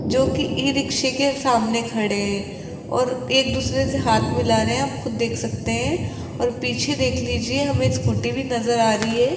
जो की ई रिक्शे के सामने खड़े है और एक दूसरे से हाथ मिला रहे है आप खुद देख सकते है और पीछे देख लीजिए हमें स्कूटी भी नजर आ रही है।